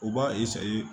U b'a